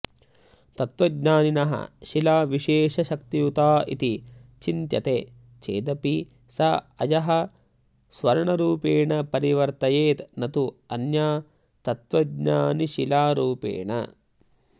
तत्त्वज्ञानिनः शिला विशेषशक्तियुता इति चिन्त्यते चेदपि सा अयः स्वर्णरूपेण परिवर्तयेत् न तु अन्या तत्त्वज्ञानिशिलारूपेण